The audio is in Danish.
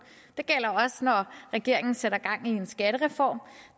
det gælder også når regeringen sætter gang i en skattereform